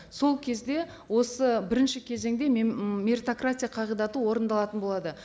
сол кезде осы бірінші кезеңде м меритократия қағидаты орындалатын болады